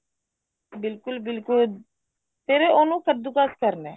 ਬਿਲਕੁਲ ਬਿਲਕੁਲ ਫ਼ੇਰ ਉਹਨੂੰ ਕੱਦੂ ਕਸ਼ ਕਰਨਾ